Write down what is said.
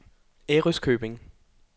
Ærøskøbing